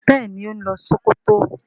béèni o ń lo Sokoto.